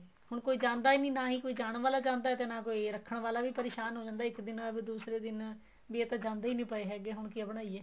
ਹੁਣ ਕੋਈ ਜਾਂਦਾ ਹੀ ਨੀ ਨਾ ਕੋਈ ਜਾਣ ਵਾਲਾ ਜਾਂਦਾ ਰੱਖਣ ਵਾਲਾ ਵੀ ਪਰੇਸ਼ਾਨ ਹੋ ਜਾਂਦਾ ਇੱਕ ਦਿਨ ਆਵੇ ਦੂਸਰੇ ਦਿਨ ਵੀ ਇਹ ਤਾਂ ਜਾਂਦੇ ਹੀ ਨੀਂ ਪਏ ਹੈਗੇ ਹੁਣ ਕਿਆ ਬਣਾਈਏ